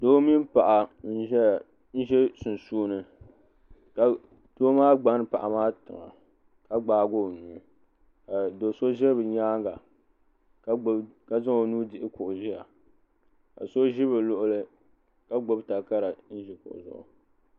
doo mini paɣa nʒɛ sunsuuni ka doo maa gbani paɣa maa tiŋa ka gbaagi o nuu do so ʒɛ bi nyaanga ka zaŋ o nuhi dihi kuɣu ʒiya ka so ʒi bi luɣuli ka gbubi takara n ʒi kuɣu zuɣu